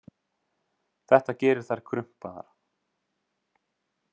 Þetta gerir þær krumpaðar.